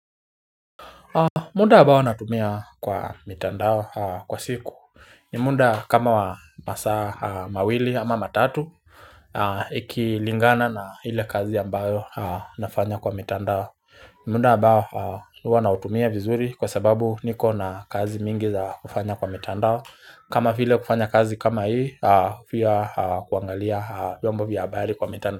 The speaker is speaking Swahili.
Muda ambao natumia kwa mitandao kwa siku muda kama wa masaa mawili ama matatu. Ikilingana na ile kazi ambayo nafanya kwa mitandao. Muda ambao huwa nautumia vizuri kwa sababu niko na kazi mingi za kufanya kwa mitandao. Kama vile kufanya kazi kama hii, pia kuangalia vyombo vya habari kwa mitandao.